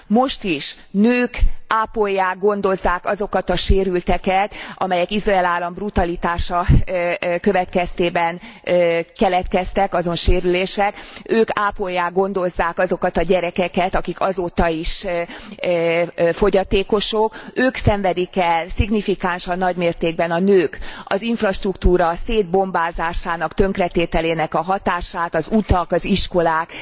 Most is nők ápolják, gondozzák azokat a sérülteket, amelyek Izrael állam brutalitása következtében keletkezetek, azon sérülések, ők ápolják, gondozzák azokat a gyerekeket, akik azóta is fogyatékosok, ők szenvedik el szignifikánsan nagy mértékben, a nők, az infrastruktúra szétbombázásának, tönkretételének a hatását, az utak, az iskolák